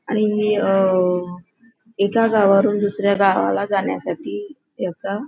आणि अ एक गावावरून दुसऱ्या गावाला जाण्यासाठी याचा --